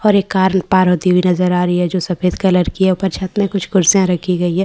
और एक कारम पार होती हुई नज़र आ रही है जो सफ़ेद कलर की है ऊपर छत में कुछ कुर्सियाँ रखी गई हैं ।